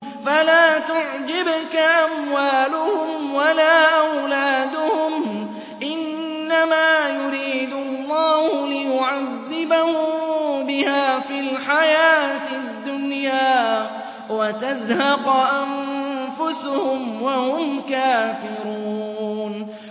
فَلَا تُعْجِبْكَ أَمْوَالُهُمْ وَلَا أَوْلَادُهُمْ ۚ إِنَّمَا يُرِيدُ اللَّهُ لِيُعَذِّبَهُم بِهَا فِي الْحَيَاةِ الدُّنْيَا وَتَزْهَقَ أَنفُسُهُمْ وَهُمْ كَافِرُونَ